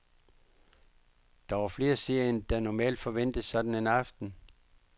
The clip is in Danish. Der var flere seere end der normalt forventes sådan en aften.